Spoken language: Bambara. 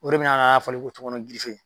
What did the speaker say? O de bɛna k'a fɔli ko tɔŋɔnɔn girife